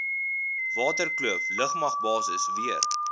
waterkloof lugmagbasis weer